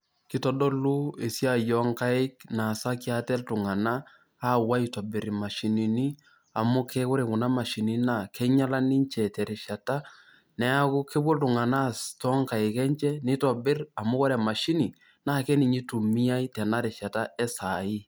Kitodolu esiai oonkaik naasaki ate iltung'anak aapuo aitobiraki ate imashinini amu ke ore kuna mashinini naa kinyiala ninche terishata, neeku kepuo iltung'anak aas toonkaik enye nitobirr amu ore emashini naa ninye itumumiai tena rishata esaai.